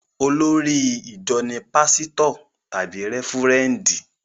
Olórí ìjọ ní pásítọ̀ tàbí rẹ́fúrẹ́ndì